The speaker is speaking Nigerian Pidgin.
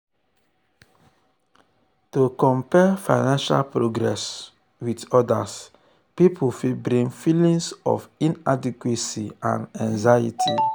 to compare financial progress with um other um pipul fit bring feelings of inadequacy and anxiety.